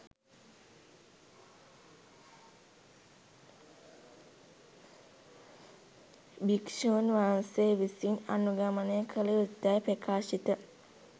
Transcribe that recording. භික්ෂූන් වහන්සේ විසින් අනුගමනය කළ යුතුයැයි ප්‍රකාශිත